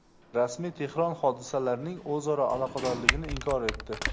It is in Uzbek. Rasmiy Tehron hodisalarning o‘zaro aloqadorligini inkor etdi.